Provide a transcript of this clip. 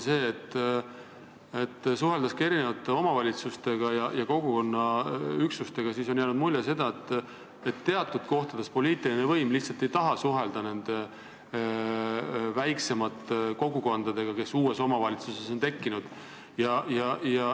Suheldes erinevate omavalitsustega ja kogukonna üksustega, on jäänud mulje, et mõnel pool poliitiline võim lihtsalt ei taha suhelda väiksemate kogukondadega, kes uues omavalitsuses on tekkinud.